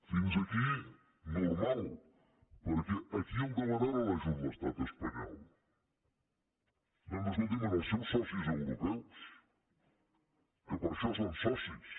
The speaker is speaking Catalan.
fins aquí normal per·què a qui demana ara l’ajut l’estat espanyol doncs escolti’m als seus socis europeus que per això són so·cis